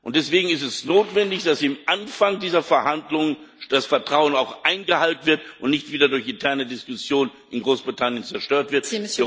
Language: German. Deswegen ist es notwendig, dass am Anfang dieser Verhandlungen das Vertrauen auch eingehalten wird und nicht wieder durch interne Diskussionen in Großbritannien zerstört wird.